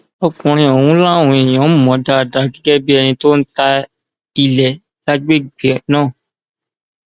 ọkùnrin ọhún làwọn èèyàn mọ dáadáa gẹgẹ bíi ẹni tó ń ta ilé lágbègbè náà